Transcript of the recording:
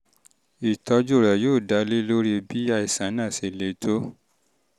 ìtọ́jú rẹ um yóò dá dá lórí bí àìsàn náà ṣe le tó